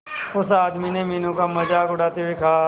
उस आदमी ने मीनू का मजाक उड़ाते हुए कहा